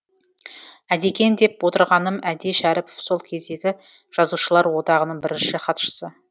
әдекең деп отырғаным әди шәріпов сол кездегі жазушылар одағының бірінші хатшысы